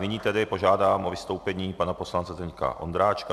Nyní tedy požádám o vystoupení pana poslance Zdeňka Ondráčka.